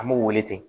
An b'u wele ten